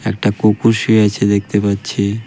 একটা কুকুর শুয়ে আছে দেখতে পাচ্ছি .